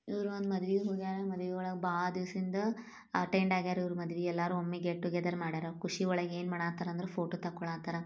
ಇವರು ಒಂದು ಮದ್ವೆಗ್ ಹೋಗ್ಯಾರ್ ಮದವಿವಳಗ್ ಭಾಳ ದಿವಸಿಂದ್ ಅಟೆಂಡ್ ಆಗ್ಯಾರ್ ಇವರು ಎಲ್ಲಾ ಒಮ್ಮಿಗೆ ಗೆಟ್ಟೊಗೆದರ್ ಮಾಡ್ಯಾರ್ ಖುಷಿವಲಗ್ ಯೆನ್ ಮಾಡ್ಲ್ತರ್ ಅಂದರ್ ಪೋಟೊ ತೆಕೊಳತಾರ್.